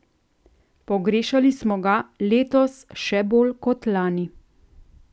Pogrešali smo ga, letos še bolj kot lani.